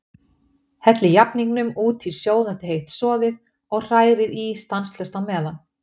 Hellið jafningnum út í sjóðandi heitt soðið og hrærið í stanslaust á meðan.